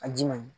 A ji man ɲi